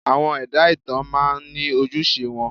Àwọn ẹ̀dá ìtàn máa ń ní ojúṣe wọn.